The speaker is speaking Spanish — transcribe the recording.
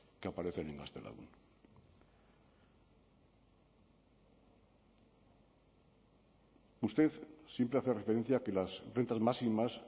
que aparecen en gaztelagun usted siempre hace referencia a que las rentas máximas